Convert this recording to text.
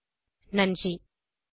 குரல் கொடுத்தது ஐட் பாம்பே லிருந்து பிரியா